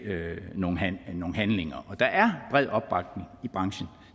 nogle handlinger der er bred opbakning i branchen